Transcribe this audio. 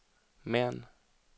Mern